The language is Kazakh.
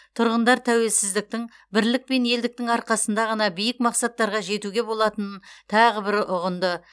тұрғындар тәуелсіздіктің бірлік пен елдіктің арқасында ғана биік мақсаттарға жетуге болатынын тағы бір ұғынды